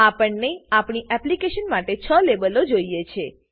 આપણને આપણી એપ્લીકેશન માટે 6 લેબલો જોઈએ છે